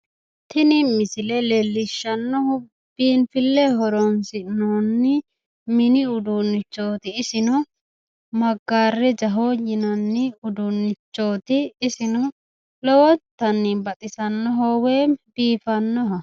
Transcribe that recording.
tini misile leellishshannohu biifisi'noonni mini uduunnichooti. isino maggarejaho yinanni uduunnichooti. isino lowontanni baxisannoho woyim biifannoho.